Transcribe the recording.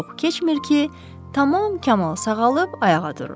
Çox keçmir ki, tamam kamal sağalıb ayağa durur.